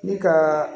Ne ka